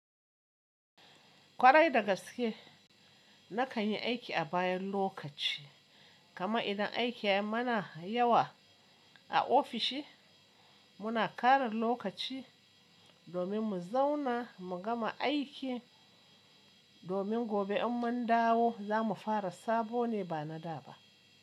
Kwarai da gaske nakan yi aiki a bayan lokaci, kaman idan aiki yayi mana yawa a ofishi muna ƙarin lokaci domin mu zauna mu gama aikin domin gobe in mun dawo za mu fara sabo ne ba na da ba.